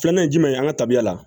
Filanan ye jumɛn ye an ka tabiya la